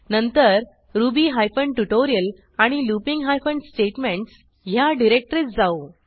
नंतर Ruby hyphen tutorial आणि looping hyphen statementsह्या डिरेक्टरीत जाऊ